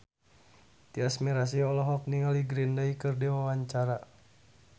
Tyas Mirasih olohok ningali Green Day keur diwawancara